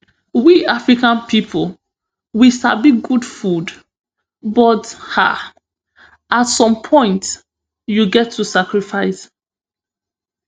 we africa pipo we sabi good food but um at some point you get to sacrifice